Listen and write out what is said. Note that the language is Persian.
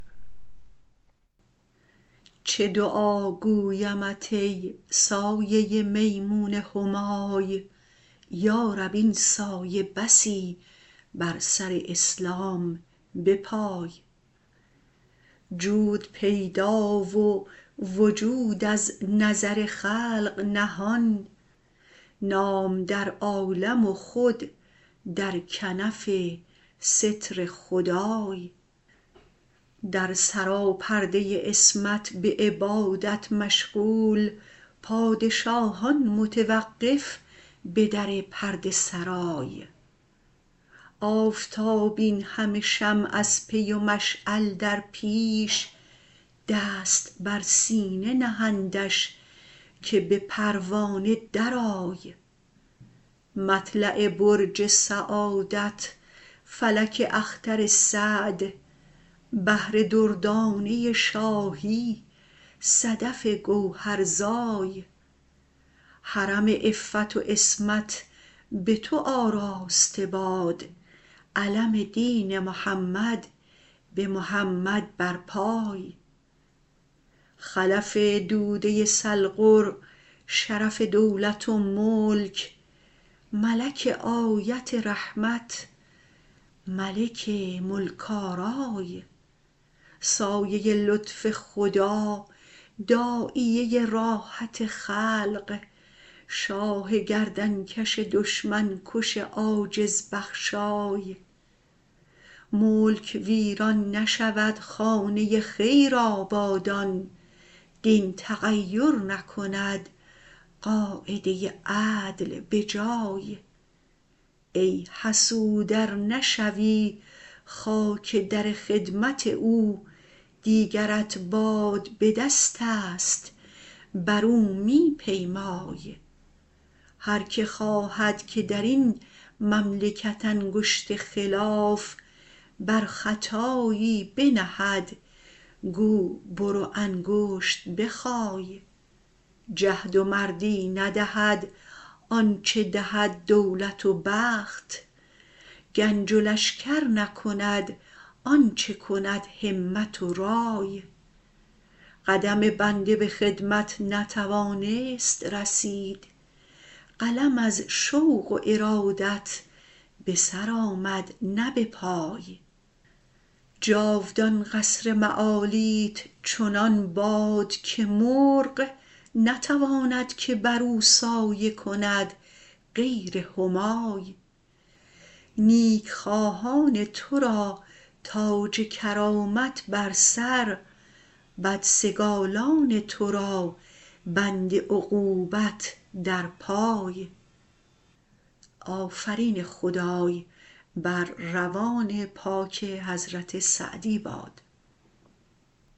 چه دعا گویمت ای سایه میمون همای یارب این سایه بسی بر سر اسلام بپای جود پیدا و وجود از نظر خلق نهان نام در عالم و خود در کنف ستر خدای در سراپرده عصمت به عبادت مشغول پادشاهان متوقف به در پرده سرای آفتاب اینهمه شمع از پی و مشعل در پیش دست بر سینه نهندش که به پروانه درآی مطلع برج سعادت فلک اختر سعد بحر دردانه شاهی صدف گوهرزای حرم عفت و عصمت به تو آراسته باد علم دین محمد به محمد برپای خلف دوده سلغر شرف دولت و ملک ملک آیت رحمت ملک ملک آرای سایه لطف خدا داعیه راحت خلق شاه گردنکش دشمن کش عاجز بخشای ملک ویران نشود خانه خیر آبادان دین تغیر نکند قاعده عدل به جای ای حسود ار نشوی خاک در خدمت او دیگرت باد به دستست برو می پیمای هر که خواهد که در این مملکت انگشت خلاف بر خطایی بنهد گو برو انگشت بخای جهد و مردی ندهد آنچه دهد دولت و بخت گنج و لشکر نکند آنچه کند همت و رای قدم بنده به خدمت نتوانست رسید قلم از شوق و ارادت به سر آمد نه به پای جاودان قصر معالیت چنان باد که مرغ نتواند که برو سایه کند غیر همای نیکخواهان تو را تاج کرامت بر سر بدسگالان تو را بند عقوبت در پای